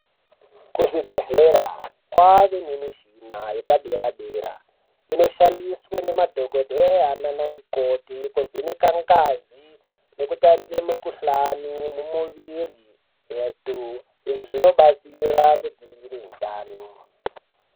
Kuzvibhehlera kwane mishina yepadera-dera, inoshandiswe nemadhokodheya nana mikoti, kuvheneka ngazi nekutarire mikhuhlani mumuviri yethu. Izvi zvinobatsira kudzivirire hutano.